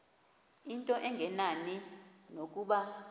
into engenani nokuba